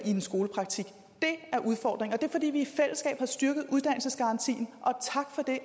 en skolepraktik det er udfordringen og er fordi vi i fællesskab har styrket uddannelsesgarantien